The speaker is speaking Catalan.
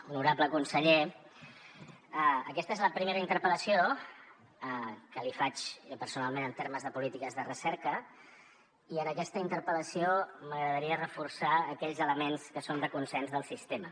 honorable conseller aquesta és la primera interpel·lació que li faig jo personalment en termes de polítiques de recerca i en aquesta interpel·la ció m’agradaria reforçar aquells elements que són de consens del sistema